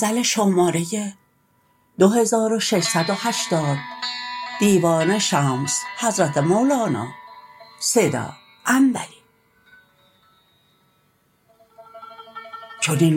چنین